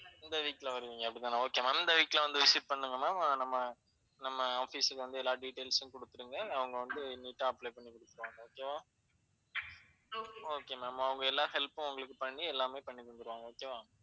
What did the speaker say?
இந்த week ல வருவீங்க அப்படி தானே, okay ma'am இந்த week ல வந்து visit பண்ணுங்க ma'am நம்ம office க்கு வந்து எல்லா details ம் குடுத்துருங்க. அவங்க வந்து neat ஆ apply பண்ணிகுடுத்துருவாங்க. okay வா okay ma'am அவங்க எல்லா help ம் உங்களுக்கு பண்ணி எல்லாமே பண்ணிதந்துருவாங்க okay வா?